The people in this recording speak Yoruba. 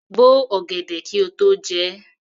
Bo ọ̀gẹ̀dẹ̀ kí o tó jẹ ẹ́!